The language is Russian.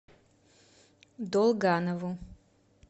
долганову